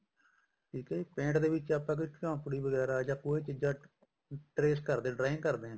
ਠੀਕ ਆ ਜੀ paint ਦੇ ਵਿੱਚ ਆਪਾਂ ਝੋਂਪੜੀ ਵਗੈਰਾ ਜਾਂ ਕੋਈ ਚੀਜ਼ਾਂ trace ਕਰਦੇ ਹਾਂ drawing ਕਰਦੇ ਹਾਂ